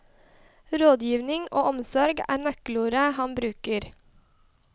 Rådgivning og omsorg er nøkkelord han bruker.